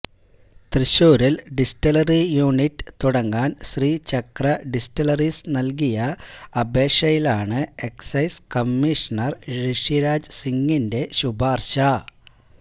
തൃശൂരില് distillery unit തുടങ്ങാന് Sreechakra distilleries നല്കിയ അപേക്ഷയിലാണ് എക്സൈസ് കമ്മിഷണര് ഋഷിരാജ് സിങിന്റെ ശുപാര്ശ